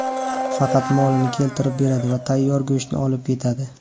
Faqat molini keltirib beradi va tayyor go‘shtni olib ketadi”.